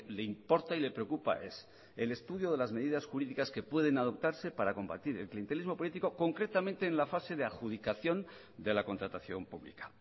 le importa y le preocupa es el estudio de las medidas jurídicas que pueden adoptarse para combatir el clientelismo político concretamente en la fase de adjudicación de la contratación pública